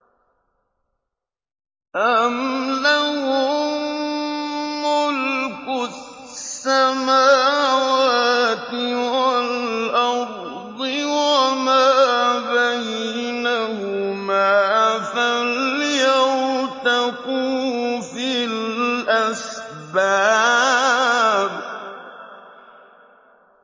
أَمْ لَهُم مُّلْكُ السَّمَاوَاتِ وَالْأَرْضِ وَمَا بَيْنَهُمَا ۖ فَلْيَرْتَقُوا فِي الْأَسْبَابِ